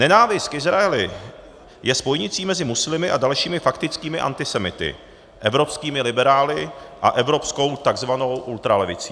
Nenávist k Izraeli je spojnicí mezi muslimy a dalšími faktickými antisemity, evropskými liberály a evropskou tzv. ultralevicí.